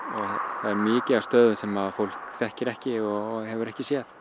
það er mikið af stöðum sem fólk þekkir ekki og hefur ekki séð